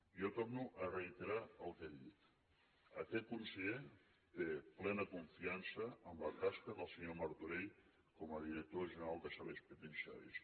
jo torno a reiterar el que he dit aquest conseller té plena confiança en la tasca del senyor martorell com a director general de serveis penitenciaris